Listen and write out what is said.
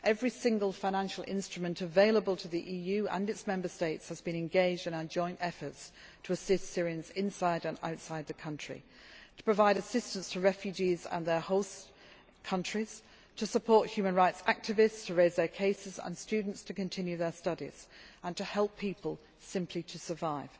ground. Every single financial instrument available to the EU and its Member States has been engaged in our joint efforts to assist Syrians inside and outside the country, to provide assistance to refugees and their host countries, to support human rights activists in raising their cases, to support students to continue their studies and to help people simply to